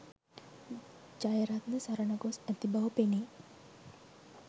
ජයරත්න සරණ ගොස් ඇති බව පෙනේ